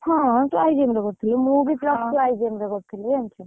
ହଁ, ତୁ IBM ରେ କରୁଥିଲୁ, ମୁଁ ବି plus three IBM college ରେ କରୁଥିଲି ଜାଣିଛୁ।